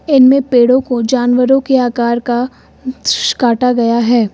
इनमें पेड़ों को जानवरों के आकार का काटा गया है।